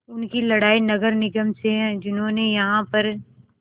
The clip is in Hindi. उनकी लड़ाई नगर निगम से है जिन्होंने यहाँ पर